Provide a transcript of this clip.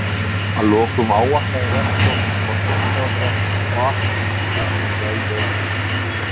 Að lokum ávarpaði rektor forsætisráðherra og afhenti ríkisstjórninni hið veglega hús.